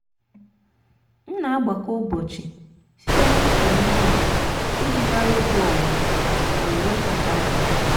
m na-agbakọ ụbọchị site na ịkụ ihe ubi iji mara oge owuwe owuwe kacha mma.